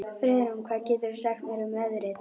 Friðrún, hvað geturðu sagt mér um veðrið?